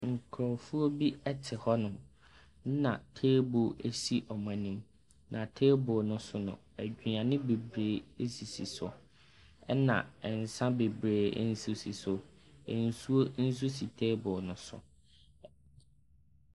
Nkurofoɔ bi ɛte hɔnom. Nna teebol esi ɔmo anim. Na teebol no so no aduane beberee esisi so. Ɛna nsa bebree nso si so. Nsuo nso si teebol no so.